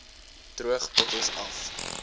droog bottels af